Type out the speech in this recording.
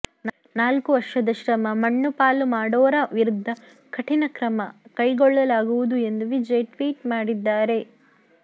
ನಾಲ್ಕು ವರ್ಷದ ಶ್ರಮ ಮಣ್ಣುಪಾಲು ಮಾಡೋರ ವಿರುದ್ದ ಕಠಿಣ ಕ್ರಮ ಕೈಗೊಳ್ಳಲಾಗುವುದು ಎಂದು ವಿಜಯ್ ಟ್ವೀಟ್ ಮಾಡಿದ್ದಾರೆ